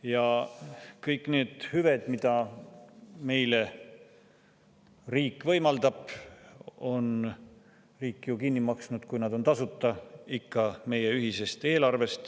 Ja kõik need hüved, mida riik meile võimaldab, on ju riik kinni maksnud – kui nad on tasuta – ikka meie ühisest eelarvest.